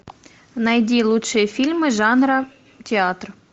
найди лучшие фильмы жанра театр